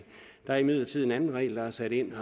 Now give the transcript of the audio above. der er imidlertid en anden regel der er sat ind